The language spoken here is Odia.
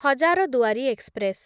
ହଜାରଦୁଆରୀ ଏକ୍ସପ୍ରେସ୍